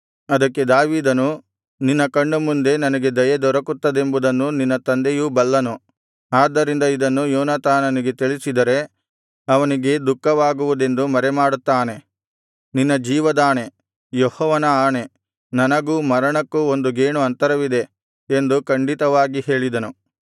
ಅದಕ್ಕೆ ದಾವೀದನು ನಿನ್ನ ಕಣ್ಣುಮುಂದೆ ನನಗೆ ದಯೆ ದೊರಕುತ್ತದೆಂಬುದನ್ನು ನಿನ್ನ ತಂದೆಯು ಬಲ್ಲನು ಆದ್ದರಿಂದ ಇದನ್ನು ಯೋನಾತಾನನಿಗೆ ತಿಳಿಸಿದರೆ ಅವನಿಗೆ ದುಃಖವಾಗುವುದೆಂದು ಮರೆಮಾಡುತ್ತಾನೆ ನಿನ್ನ ಜೀವದಾಣೆ ಯೆಹೋವನ ಆಣೆ ನನಗೂ ಮರಣಕ್ಕೂ ಒಂದು ಗೇಣು ಅಂತರವಿದೆ ಎಂದು ಖಂಡಿತವಾಗಿ ಹೇಳಿದನು